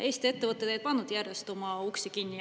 Eesti ettevõtted ei pannud järjest oma uksi kinni.